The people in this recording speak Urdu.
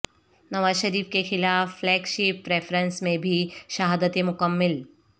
نواز شریف کیخلاف فلیگ شپ ریفرنس میں بھی شہادتیں مکمل